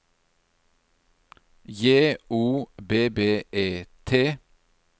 J O B B E T